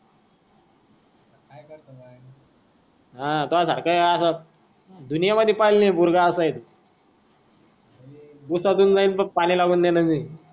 हा दुनियामध्ये पहिला नाही पोरगा असा आहे तू